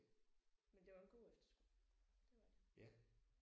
Men det var en god efterskole det var det